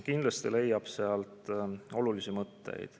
Kindlasti leiab sealt olulisi mõtteid.